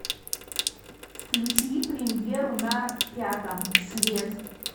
включи премьеру на пятом след